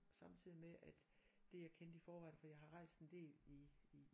Samtidigt med at det jeg kendte i forvejen for jeg har rejst en del i i